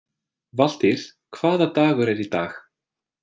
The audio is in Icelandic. Valtýr, hvaða dagur er í dag?